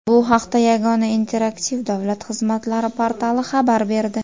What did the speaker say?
Bu haqda Yagona interaktiv davlat xizmatlari portali xabar berdi.